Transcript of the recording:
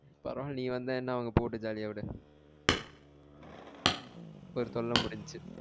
பரவால்ல நீ வந்த என்ன அவங்க போகட்டும் jolly ஆ விடு ஒரு தொல்ல முடிஞ்ச்சி